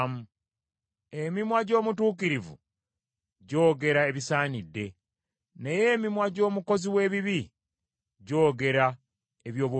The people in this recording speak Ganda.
Emimwa gy’omutuukirivu gyogera ebisaanidde; naye emimwa gy’omukozi w’ebibi gyogera eby’obubambavu.